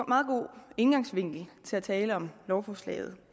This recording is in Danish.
meget god indgangsvinkel til at tale om lovforslaget